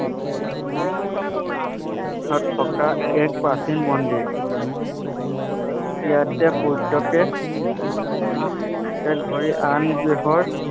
তাত থকা এক প্ৰাচীন মন্দিৰ ইয়াতে সূৰ্য্যকে এক ধৰি আন গৃহৰ